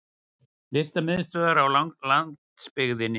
Listamiðstöðvar á landsbyggðinni!